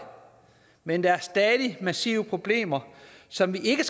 men der er stadig massive problemer som vi ikke